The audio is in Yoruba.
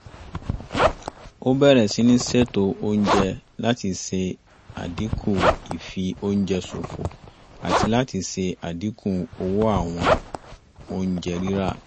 a bẹ̀rẹ̀ síní ṣètò oúnjẹ láti ṣe àdínkù ì fi oúnjẹ ṣòfò àti láti ṣe àdínkù owó àwọn oúnjẹ rírà